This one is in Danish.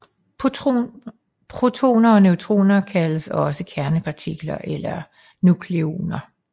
Protoner og neutroner kaldes også kernepartikler eller nukleoner